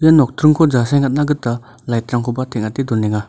ia nokdringko jasengatna gita lighg-rangkoba teng·ate donenga.